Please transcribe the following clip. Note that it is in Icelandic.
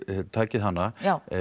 takið hana